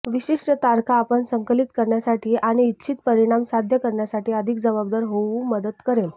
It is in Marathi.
विशिष्ट तारखा आपण संकलित करण्यासाठी आणि इच्छित परिणाम साध्य करण्यासाठी अधिक जबाबदार होऊ मदत करेल